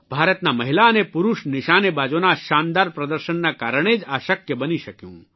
ભારતનાં મહિલા અને પુરૂષ નિશાનેબાજોના શાનદાર પ્રદર્શનના કારણે જ આ શક્ય બની શક્યું